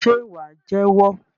Ṣe wà jẹ́wọ́?